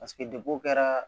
Paseke dekun kɛra